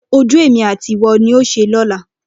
Ojú èmi àti ìwọ ni yóò ṣe lọ́la.